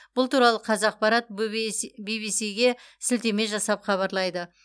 бұл туралы қазақпарат бибисиге сілтеме жасап хабарлайды